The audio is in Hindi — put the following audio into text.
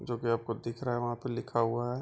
जो की आपको दिख रहा है वहां पे लिखा हुआ है।